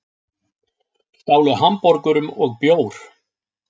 Stálu hamborgurum og bjór